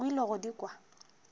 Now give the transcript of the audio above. o ile go di kwa